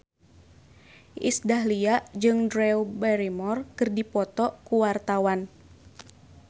Iis Dahlia jeung Drew Barrymore keur dipoto ku wartawan